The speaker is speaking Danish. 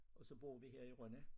Og så bor vi her i Rønne